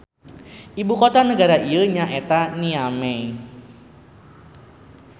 Ibu kota nagara ieu nya eta Niamey.